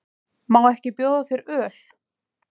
Má ekki bjóða þér öl?